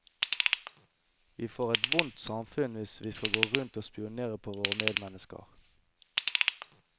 Vi får et vondt samfunn hvis vi skal gå rundt og spionere på våre medmennesker.